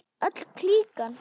Öll klíkan.